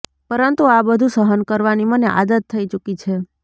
પરંતુ આ બધું સહન કરવાની મને આદત થઈ ચૂકી છે